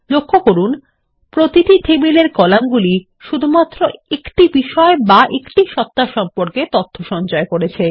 লক্ষ্য করুন প্রতিটি টেবিলের কলাম গুলি শুধুমাত্র একটি বিষয় বা একটি সত্তা সম্পর্কে তথ্য সঞ্চয় করছে